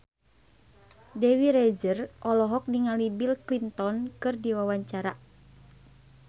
Dewi Rezer olohok ningali Bill Clinton keur diwawancara